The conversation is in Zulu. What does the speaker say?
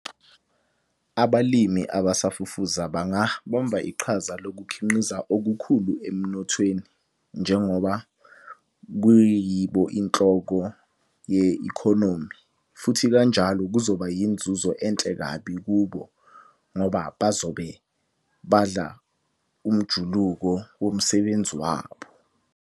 Abalimi abasafufuza banga bamba iqhaza lokukhinqiza okukhulu emnothweni njengoba kuyibo inhloko ye-economy, futhi kanjalo kuzoba yinzuzo enhle kabi kubo ngoba bazobe badla umjuluko womsebenzi wabo.